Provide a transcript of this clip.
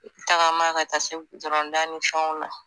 Tagama ka taa se dani fɛnw na